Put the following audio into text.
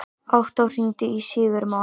Októ, hringdu í Sigurmon.